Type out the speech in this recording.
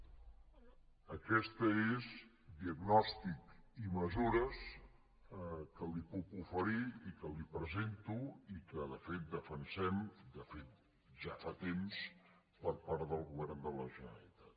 aquests són diagnòstic i mesures que li puc oferir i que li presento i que de fet defensem de fet ja fa temps per part del govern de la generalitat